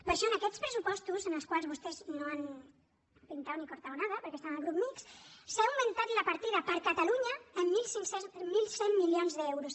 per això en aquests pressupostos en els quals vostès no han pintado ni cortado nada perquè estan al grup mixt s’ha augmentat la partida per a catalunya en mil cent milions d’euros